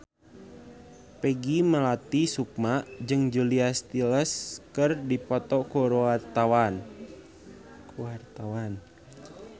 Peggy Melati Sukma jeung Julia Stiles keur dipoto ku wartawan